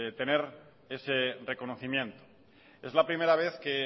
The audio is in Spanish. tener ese reconocimiento es la primera vez que